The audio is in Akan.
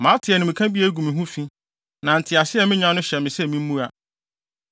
Mate animka bi a egu me ho fi, na ntease a minya no hyɛ me sɛ mimmua.